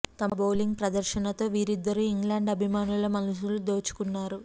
తమ బౌలింగ్ ప్రదర్శనతో వీరిద్దరు ఇంగ్లాండ్ అభిమానుల మనసులు దోచుకున్నారు